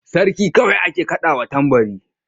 Sarki kawai ake kaɗawa tambari.